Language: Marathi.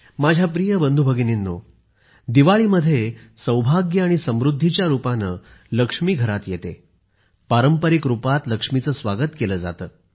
माझ्या प्रिय बंधू भगिनींनो दिवाळीमध्ये सौभाग्य आणि समृद्धीच्या रुपाने लक्ष्मी घरात येते पारंपारिक रूपात लक्ष्मीचे स्वागत केले जाते